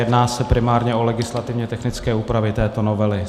Jedná se primárně o legislativně technické úpravy této novely.